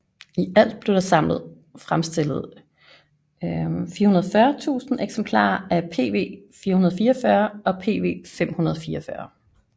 I alt blev der samlet fremstillet 440000 eksemplarer af PV444 og PV544